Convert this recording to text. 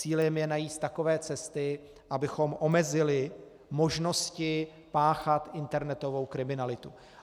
Cílem je najít takové cesty, abychom omezili možnosti páchat internetovou kriminalitu.